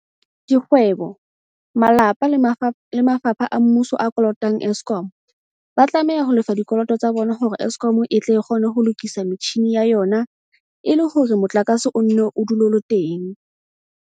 Dikgwe bo, malapa le mafapha a mmuso a kolotang Eskom, ba tlameha ho lefa dikoloto tsa bona hore Eskom e tle e kgone ho lokisa metjhini ya yona e le hore motlakase o nne o dule o le teng.